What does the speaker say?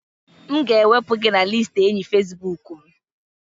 M ga-ewepụ gị na listi enyi Facibụkụ m